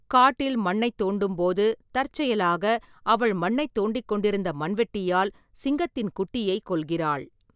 காட்டில் மண்ணைத் தோண்டும்போது, தற்செயலாக அவள் மண்ணைத் தோண்டிக் கொண்டிருந்த மண்வெட்டியால் சிங்கத்தின் குட்டியைக் கொல்கிறாள்.